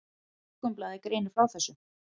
Morgunblaðið greinir frá þessu.